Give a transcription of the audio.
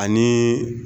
Ani